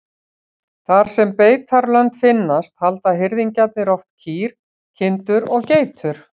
Þar sem beitarlönd finnast halda hirðingjarnir oft kýr, kindur og geitur.